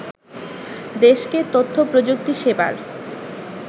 দেশকে তথ্যপ্রযুক্তি সেবার